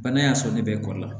Bana y'a sɔrɔ ne bɛ kɔli la